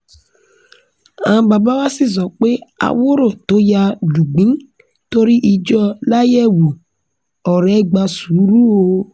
àwọn bàbá wa sì sọ pé àwòrò tó yá lùgbìn torí ìjọ láyẹ̀wù ọ̀rọ̀ ẹ̀ gba sùúrù o